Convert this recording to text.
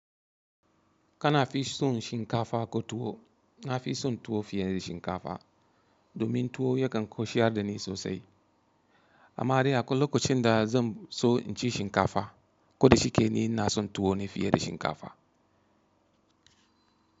Kana fi son shinkafa ko tuwo? Na fi son tuwo fiye da shinkafa domin tuwo yakan koshiyar da ni sosai. Amma dai akwai lokacin da zan so inci shinkafa, ko da shike ni ina son tuwo ne fiye da shinkafa.